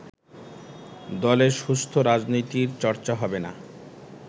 দলে সুস্থ রাজনীতির চর্চা হবে না